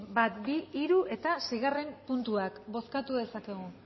bat bi hiru eta seigarren puntuak bozkatu dezakegu